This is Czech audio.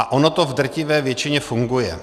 A ono to v drtivé většině funguje.